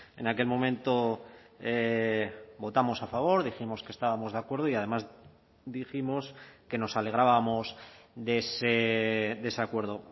en aquel momento votamos a favor dijimos que estábamos de acuerdo y además dijimos que nos alegrábamos de ese acuerdo